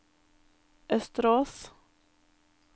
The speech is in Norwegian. Østerås